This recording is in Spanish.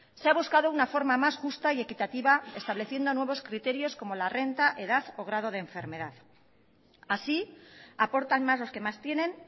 se ha buscado una forma más justa y equitativa estableciendo nuevos criterios como la renta edad o grado de enfermedad así aportan más los que más tienen